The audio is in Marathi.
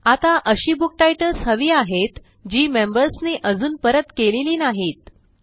आता अशी बुक टाइटल्स हवी आहेत जी मेंबर्स नी अजून परत केलेली नाहीत